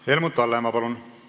Helmut Hallemaa, palun!